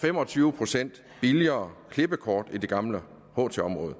fem og tyve procent billigere klippekort i det gamle ht område